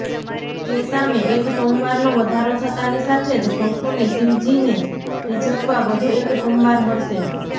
તે સામે એક સોમવારનો વધારો થતાની સાથે જ ભક્તોને શિવજીને રીઝવવા વધુ એક સોમવાર મળશે